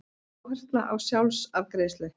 Áhersla á sjálfsafgreiðslu